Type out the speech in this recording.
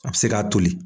A bɛ se k'a toli